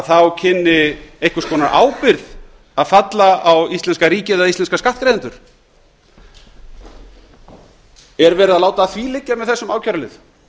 þá kynni einhvers konar ábyrgð að falla á íslenska ríkið eða íslenska skattgreiðendur er verið að láta að því liggja með þessu ákærulið það